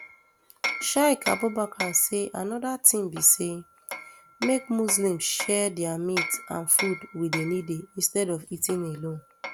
sheik abubakar say anoda tin be say make muslims share dia meat and food wit di needy instead of eating alone